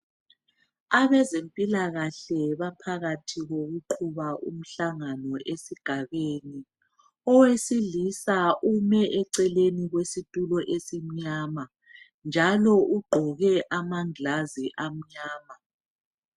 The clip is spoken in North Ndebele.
Abezempilakahle baphakathi kokuqhuba umhlangano esigabeni. Owesilisa ume eceleni kwesitulo esimnyama, njalo ugqoke amangilazi amnyama.